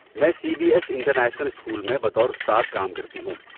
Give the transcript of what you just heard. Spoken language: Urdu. میں C B S international school میں بطور استاد کام کرتی ہوں۔